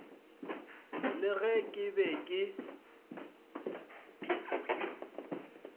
le ge ke be ke